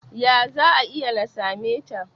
ya za a yi na same ta?